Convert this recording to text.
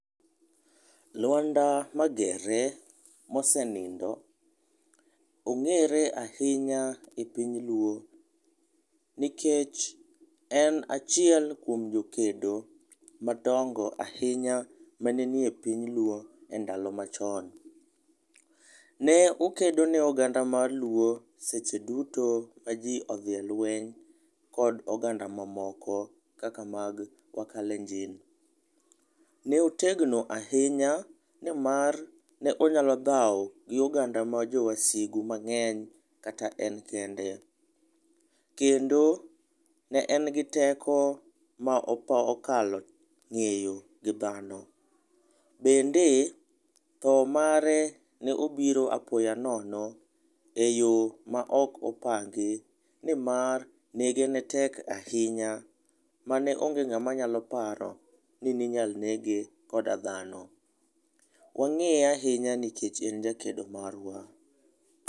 Lwanda Magere, ma osenindo ,ong'ere ahinya e piny luo nikech en achiel kuom jokedo madongo ahinya ma ne ni e piny luo e ndalo ma chon. Ne okedo ne oganda mar luo seche duto ma ji odhi e lweny kod oganda ma moko kaka mag kalenjin. Ne otegno ahinya ni mar ne onyalo dhao gi oganda ma jo wasigu mang'eny kata en kende. Kendo ne en gi teko ma okalo ng'eyo gi dhano, bende tho mare ne obiro apoya nono e yo ma ok opangi ni mar nege ne tek ahinya ma ne onge ng'ama ne nyalo paro ni ne inyal nege koda dhano. Wang'eye ahinya nikech en jakedo marwa.